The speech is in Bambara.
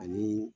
Ani